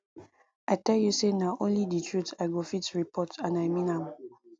i tell you say na only the truth i go fit report and i mean am